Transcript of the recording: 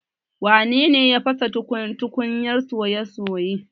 Wane ne ya fasa tukunyar soya soye?